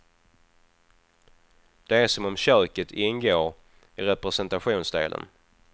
Det är som om köket ingår i representationsdelen.